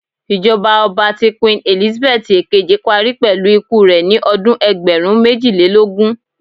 Ijọba ọba ti Queen Elizabeth ekeji pari pẹlu iku rẹ ni ọdun ẹgbẹrun mejilelogun